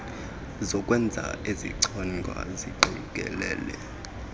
zokwenza ezichonga ziqikelele